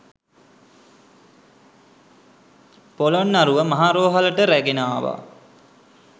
පොළොන්නරුව මහ රෝහලට රැගෙන ආවා